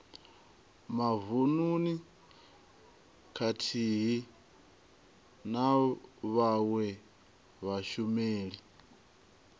mavununi khathihi na vhawe vhashumeli